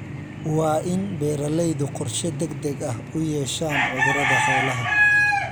Waa in beeralaydu qorshe degdeg ah u yeeshaan cudurrada xoolaha.